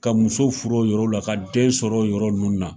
Ka muso furu o yɔrɔ la, ka den sɔrɔ yɔrɔ nunnu na